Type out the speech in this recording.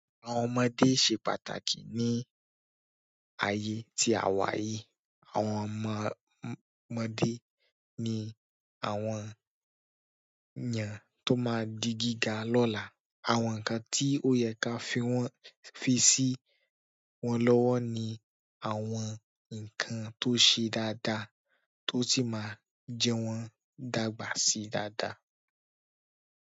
Àwọn ọmọdé se pàtàkì ní ayé tí a wà yìí. Àwọn ọmọ ọmọdé ni àwọn ènìyàn tó máa di gíga lọ́la. Àwọn nǹkan tí ó yẹ ká fi wọ́n fi sí wọ́n lọ́wọ́ ni àwọn nǹkan tó ṣe dáadáa tó sì máa jẹ wọ́n dàgbà sí dáadáa.